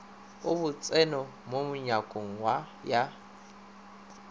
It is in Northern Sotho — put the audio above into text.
a botseno mo nyakong ya